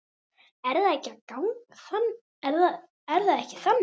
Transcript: Er það ekki þannig?